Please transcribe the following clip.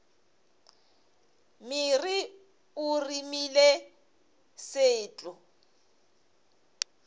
mere o remile se tlo